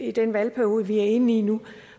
i den valgperiode vi er inde i nu